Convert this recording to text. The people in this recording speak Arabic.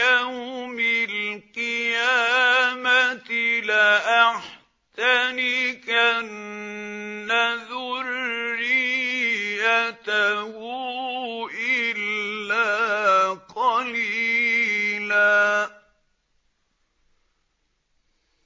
يَوْمِ الْقِيَامَةِ لَأَحْتَنِكَنَّ ذُرِّيَّتَهُ إِلَّا قَلِيلًا